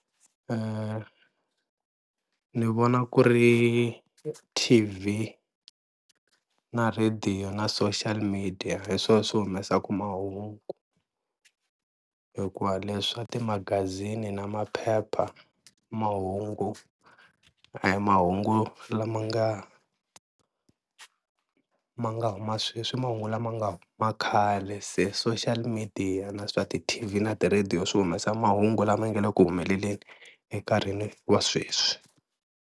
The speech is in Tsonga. Ni vona ku ri T_V, na radio na social media hi swona swi humesaka mahungu hikuva leswa ti-magazini na maphepha mahungu a hi mahungu lama nga ma nga huma sweswi i mahungu lama nga huma khale, se social media na swa ti-T_V na ti-radio swi humesa mahungu lama nga le ku humeleleni enkarhini wa sweswi.